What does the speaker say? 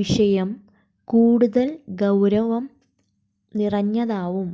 വിഷയം കൂടുതൽ ഗൌരവം നിറഞ്ഞതാകും